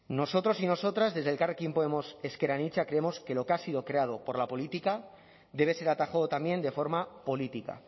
nosotros y nosotras desde elkarrekin podemos ezker anitza creemos que lo que ha sido creado por la política debe ser atajado también de forma política